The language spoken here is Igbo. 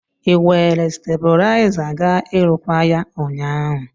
Ị were stebụlaiza ga ịrụkwaa ya ụnyaahụ?